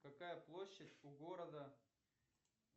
какая площадь у города